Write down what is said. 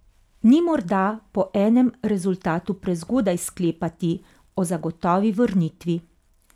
Ni morda po enem rezultatu prezgodaj sklepati o zagotovi vrnitvi?